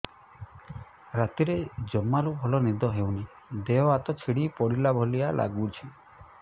ରାତିରେ ଜମାରୁ ଭଲ ନିଦ ହଉନି ଦେହ ହାତ ଛିଡି ପଡିଲା ଭଳିଆ ଲାଗୁଚି